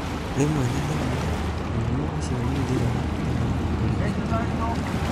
Rĩmwe na rĩmwe, mũrimũ ũcio nĩ ũthiraga ũtarĩ ũrigitani.